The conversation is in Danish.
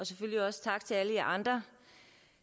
også tak til alle jer andre